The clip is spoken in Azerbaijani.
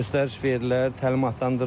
Göstəriş verilər, təlimatlandırırlar.